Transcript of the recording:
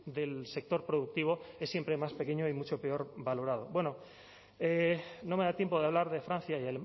del sector productivo es siempre más pequeño y mucho peor valorado bueno no me da tiempo de hablar de francia y